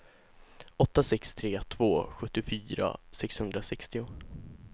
åtta sex tre två sjuttiofyra sexhundrasextio